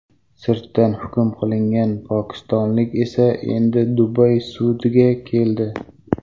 Sirtdan hukm qilingan pokistonlik esa endi Dubay sudiga keldi.